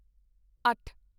ਅੱਠ